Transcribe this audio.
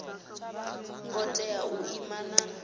ngo tea u ima na